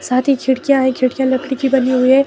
साथ ही खिड़कियां है खिड़कियां लकड़ी की बनी हुई हैं।